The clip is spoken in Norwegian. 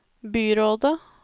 byrådet